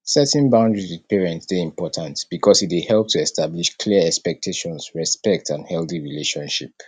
setting boudaries with parents dey important because e dey help to establish clear expectations respect and healthy relationship